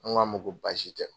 An ko a ma ko baasi tɛ.